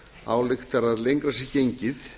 ályktar að lengra sé gengið